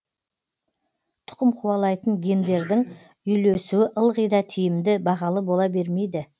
тұқым қуалайтын гендердің үйлесуі ылғи да тиімді бағалы бола бермейді